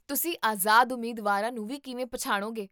ਤੁਸੀਂ ਆਜ਼ਾਦ ਉਮੀਦਵਾਰਾਂ ਨੂੰ ਵੀ ਕਿਵੇਂ ਪਛਾਣੋਗੇ?